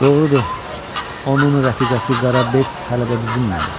Doğrudur, onun rəfiqəsi Qara Bes hələ də bizimlədir.